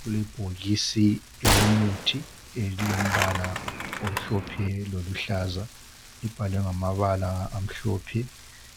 Kulebhokisi elomuthi elilombala omhlophe loluhlaza libhalwe ngamabala amhlophe